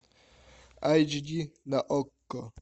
айч ди на окко